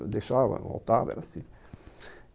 Eu deixava, voltava, era assim.